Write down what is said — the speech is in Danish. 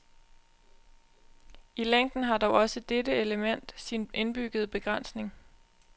I længden har dog også dette element sin indbyggede begrænsning.